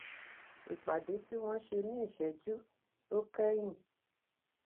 ìpàdé tí wón ṣe ní ìṣéjú tó kéyìn